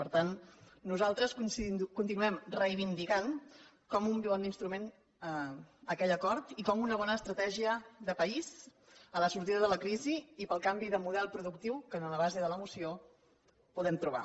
per tant nosaltres continuem reivindicant com un bon instrument aquell acord i com una bona estratègia de país per a la sortida de la crisi i per al canvi de model productiu que en la base de la moció podem trobar